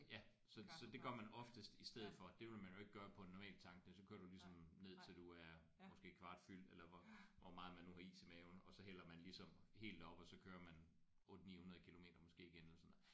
Ja så så det gør man oftest i stedet for det ville man jo ikke gøre på en normal tank der kører du jo ligesom ned til du er måske kvart fyldt eller hvor hvor meget man nu har is i maven og så hælder man ligesom helt op og så kører man 8 900 kilometer måske igen eller sådan noget